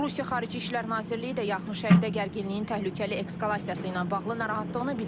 Rusiya Xarici İşlər Nazirliyi də Yaxın Şərqdə gərginliyin təhlükəli eskalasiyası ilə bağlı narahatlığını bildirib.